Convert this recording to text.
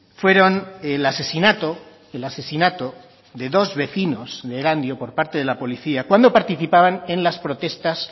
fueron el asesinato el asesinato de dos vecinos de erandio por parte de la policía cuando participaban en las protestas